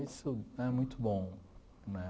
Isso é muito bom, né?